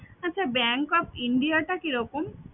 আচ্ছা bank of India টা কি রকম?